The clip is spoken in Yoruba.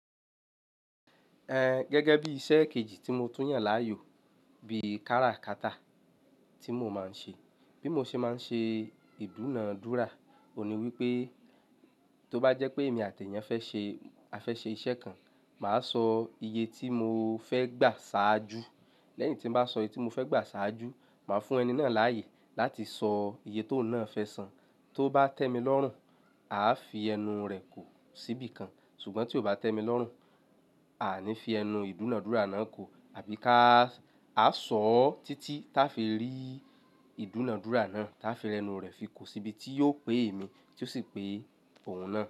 Ẹ gẹ́gẹ́ bí iṣẹ́ kejì tí mo tún yàn láàyò, bí i kára kata tí mo máa ń ṣe. Bí mo ṣe máa ń ṣe ìdúnadúrà, òní wípé tó bá jẹ́ pé èmi àti èèyàn fẹ́ ṣe, á fẹ́ ṣe iṣẹ́ kan, màá sọ iye tí mo fẹ́ gbà ṣáájú. Lẹ́yìn tí mo bá sọ iye tí mo fẹ́ gbà ṣáájú, màá fún ẹni náà láàyè láti sọ iye tó náà fẹ́ san. Tó bá tẹ́ mi lọ́rùn, a fi ẹnu rẹ̀ kò síbi kan. Ṣùgbọ́n tí ó bá tẹ́ mi lọ́rùn, a ní fi ẹnu ìdúnadúrà náà kò, àbí ká, a sọ ọ́ títí táa fi rí ìdúnadúrà náà, táa fi rẹnu rẹ̀ fi kùò síbi tí yóò pé èmi tí ó sì pé òun náà.